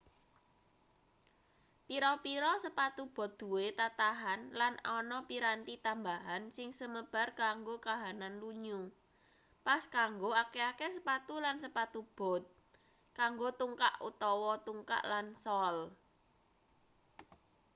pira-pira sepatu bot duwe tatahan lan ana piranti tambahan sing semebar kanggo kahanan lunyu pas kanggo akeh-akeh sepatu lan sepatu bot kanggo tungkak utawa tungkak lan sol